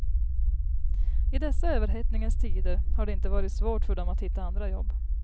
I dessa överhettningens tider har det inte varit svårt för dem att hitta andra jobb.